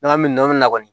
N'an mɛ nɔrɔ min na kɔni